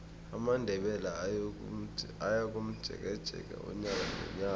amandebele ayakomjekeje unyaka nonyaka